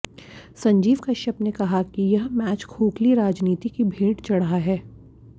संजीव कश्यप ने कहा कि यह मैच खोखली राजनीति की भेंट चढ़ा है